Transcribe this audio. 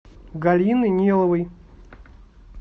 галины ниловой